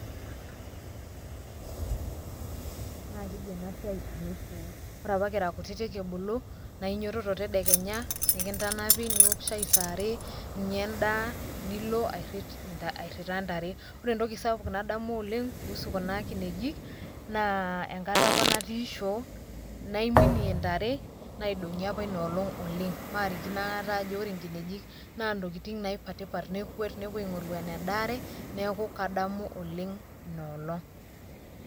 Kadamu oleng enkolong nataasa enasiai na keji enasiai alo shoo. Ore apa kira kutitik kibulu, na inyototo tedekenya nikintanapi niok shai saare, ninya endaa, nilo airrita ntare. Ore entoki sapuk nadamu oleng kuhusu kuna kinejik, naa enkata apa natii shoo, naiminie ntare, naidong'i apa inoolong oleng. Marikino akata ajo ore nkinejik, na ntokiting naipatipat nekuet nepuo aing'oru enedaare, neeku kadamu oleng inoolong.